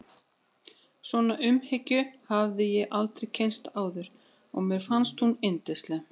Svona umhyggju hafði ég aldrei kynnst áður og mér fannst hún yndisleg.